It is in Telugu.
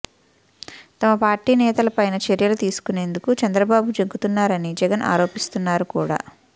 తమ పార్టీ నేతల పైన చర్యలు తీసుకునేందుకు చంద్రబాబు జంకుతున్నారని జగన్ ఆరోపిస్తున్నారు కూడా